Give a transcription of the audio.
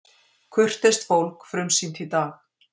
Kurteist fólk frumsýnt í dag